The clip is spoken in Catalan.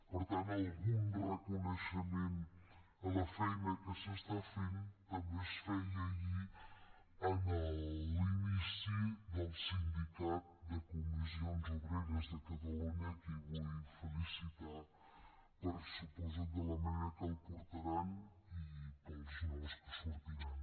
per tant algun reconeixement a la feina que s’està fent també es feia ahir en l’inici del sindicat de comissions obreres de catalunya a qui vull felicitar per suposo la manera en què el portaran i pels nous que sortiran